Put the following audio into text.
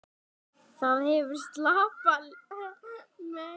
Það hefur skarpa, megna lykt.